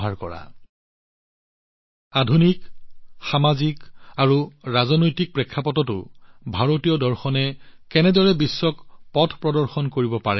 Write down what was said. দীনদয়ালজীয়ে আমাক শিকাইছিল যে ভাৰতীয় দৰ্শনে আধুনিক সামাজিক আৰু ৰাজনৈতিক দৃষ্টিকোণতো কেনেদৰে বিশ্বক পথ প্ৰদৰ্শন কৰিব পাৰে